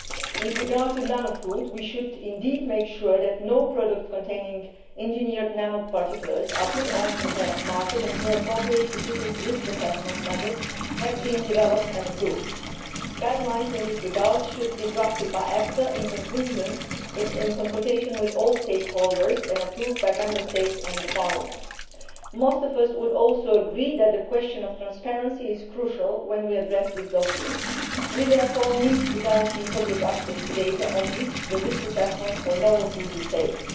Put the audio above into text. With regard to nanofood, we should indeed make sure that no products containing engineered nanoparticulates are put on the market until appropriate specific risk assessment methods have been developed and approved. Guidelines in this regard should be drafted by EFSA in consultation with all stakeholders and approved by Member States and Parliament. Most of us would also agree that the question of transparency is crucial when we address this dossier. We therefore need to guarantee public access to data on which the risk assessment for novel food is based.